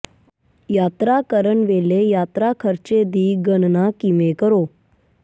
ਯਾਤਰਾ ਕਰਨ ਵੇਲੇ ਯਾਤਰਾ ਖ਼ਰਚੇ ਦੀ ਗਣਨਾ ਕਿਵੇਂ ਕਰੋ